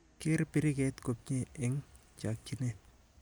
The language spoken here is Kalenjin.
Ker biriket komnyie eng chakchinet.